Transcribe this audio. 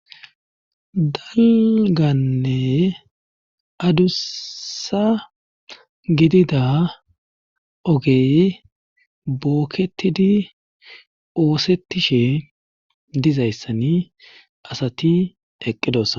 daliganne adussa gidida ogey bookketidi oosettishe dizayssan asati eqqidossona